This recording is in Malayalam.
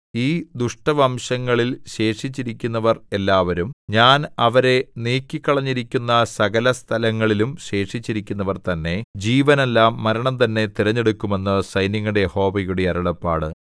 ഈ ദുഷ്ടവംശങ്ങളിൽ ശേഷിച്ചിരിക്കുന്നവർ എല്ലാവരും ഞാൻ അവരെ നീക്കിക്കളഞ്ഞിരിക്കുന്ന സകലസ്ഥലങ്ങളിലും ശേഷിച്ചിരിക്കുന്നവർ തന്നെ ജീവനല്ല മരണം തന്നെ തിരഞ്ഞെടുക്കും എന്ന് സൈന്യങ്ങളുടെ യഹോവയുടെ അരുളപ്പാട്